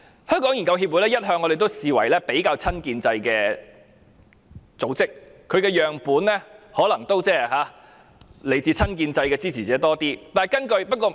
我們一向視香港研究協會為比較親建制的組織，其研究對象可能較多來自親建制支持者。